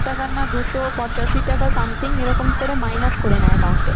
টাকা না দুশো পঁচাশি টাকা something এরকম করে minus করে নেয় account থেকে।